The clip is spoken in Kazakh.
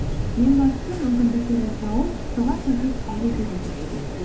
ең бастысы мүмкіндіктерді тауып соған сәйкес әрекет ету керек